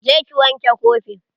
Je ki wanke kofin.